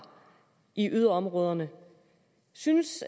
i yderområderne synes